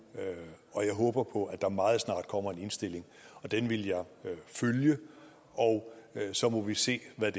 og jeg håber på at der meget snart kommer en indstilling og den vil jeg følge og så må vi se hvad